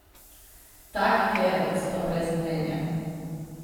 Tak kerlc, pa brez mnenja?